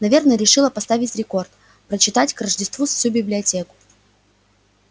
наверное решила поставить рекорд прочитать к рождеству всю библиотеку